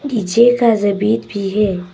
नीचे का जमीन भी है।